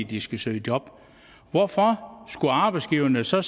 de skal søge job hvorfor skulle arbejdsgiverne så